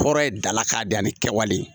Hɔrɔn ye dalakan de ye ani kɛwale